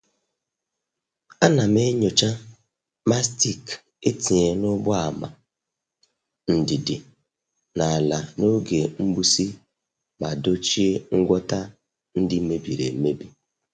A nam- enyocha mastic etinyere n' ụgbọ ámá ndidi n' ala n' oge mgbụsị ma dochie ngwọta ndị mebiri emebi.